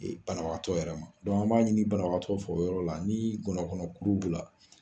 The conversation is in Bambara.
Banabagatɔ yɛrɛ ma , an b'a ɲini banatɔ fɛ o yɔrɔ la, ni gɔnɔkuru b'i la